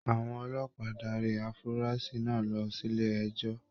Àwọn ọlọ́pàá darí afurasi náà lọ sílé ẹjọ.